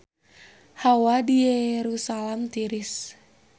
Hawa di Yerusalam tiris